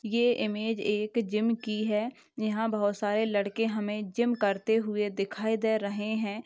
ये इमेज एक जिम की है यहाँ बहुत सारे लड़के हमे जिम करते हुए दिखाई दे रहे है।